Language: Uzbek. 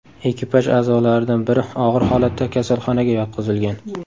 Ekipaj a’zolaridan biri og‘ir holatda kasalxonaga yotqizilgan.